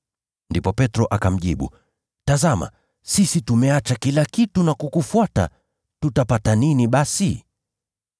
Ndipo Petro akamjibu, “Tazama, sisi tumeacha kila kitu na kukufuata! Tutapata nini basi?”